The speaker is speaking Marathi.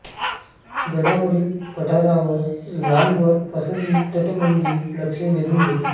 गडावरील पठारावर लांबवर पसरलेली तटबंदी लक्ष वेधून घेते